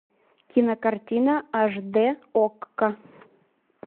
кинокартина аш дэ окко